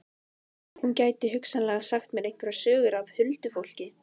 Hún gæti hugsanlega sagt mér einhverjar sögur af huldufólki.